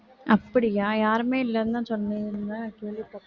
அப்படியா யாருமே இல்லைன்னுதான் கேள்விப்பட்~